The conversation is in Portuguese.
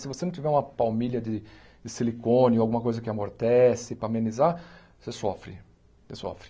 Se você não tiver uma palmilha de de silicone ou alguma coisa que amortece, para amenizar, você sofre, você sofre.